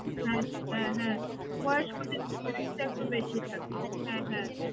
হ্যাঁ হ্যাঁ হ্যাঁ। বয়স্কদের একটু বেশি থাকে হ্যাঁ হ্যাঁ